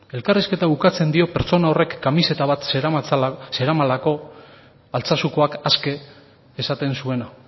elkarrizketa ukatzen dio pertsona horrek kamiseta bat zeramalako altsasukoak aske esaten zuena